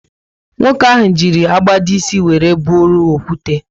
Nwoke ahụ ji agbada ísì wéré bụrụ okwute